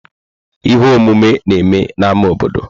Ihe omume na-eme n'ámá obodo.